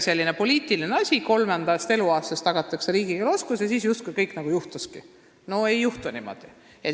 See oli poliitiline otsus, et kolmandast eluaastast tagatakse riigikeele õppimise võimalus, ja siis pidi justkui kõik juhtumagi.